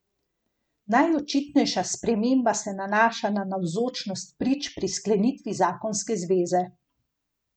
Najočitnejša sprememba se nanaša na navzočnost prič pri sklenitvi zakonske zveze.